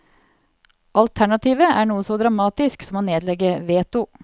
Alternativet er noe så dramatisk som å nedlegge veto.